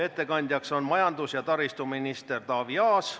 Ettekandjaks on majandus- ja taristuminister Taavi Aas.